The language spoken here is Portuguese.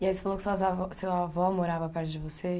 E aí você falou que suas avó, seu avó morava perto de você?